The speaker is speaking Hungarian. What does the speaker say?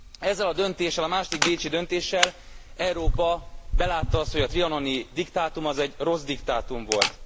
Ezzel a döntéssel, a második bécsi döntéssel Európa belátta azt, hogy a trianoni diktátum egy rossz diktátum volt.